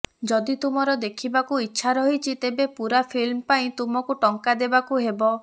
ଯଦି ତୁମର ଦେଖିବାକୁ ଇଚ୍ଛା ରହିଛି ତେବେ ପୂରା ଫିଲ୍ମ ପାଇଁ ତୁମକୁ ଟଙ୍କା ଦେବାକୁ ହେବ